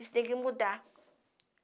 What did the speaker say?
Isso tem que mudar.